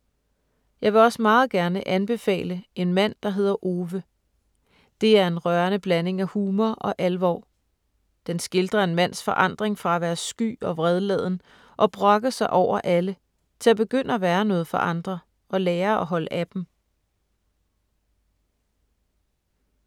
Jeg vil også meget gerne anbefale ”En mand der hedder Ove”: Det er en rørende blanding af humor og alvor. Den skildrer en mands forandring fra at være sky og vredladen, og brokke sig over alle, til at begynde at være noget for andre og lære at holde af dem.